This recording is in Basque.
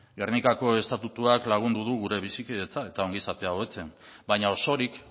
gernikako estatutuak lagundu du gure bizikidetza eta ongizatea hobetzen baina osorik